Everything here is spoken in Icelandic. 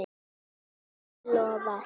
sumri lofar hlýju.